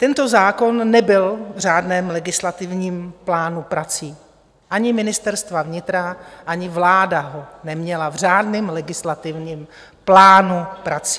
Tento zákon nebyl v řádném legislativním plánu prací ani Ministerstva vnitra, ani vláda ho neměla v řádném legislativním plánu prací.